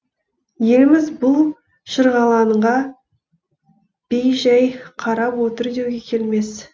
еліміз бұл шырғалаңға бей жай қарап отыр деуге келмес